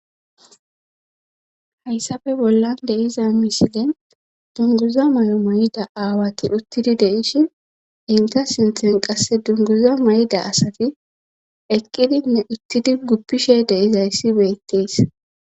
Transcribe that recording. hayssafe bollan deiza mishile dunguza may7o may7ida aawati uttidi deishi inta sinthen qasse dunguza may7da asati eqqidinne uttidi guppishe deizayssi beyttees